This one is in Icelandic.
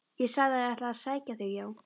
Ég sagði að ég ætlaði að sækja þig, já!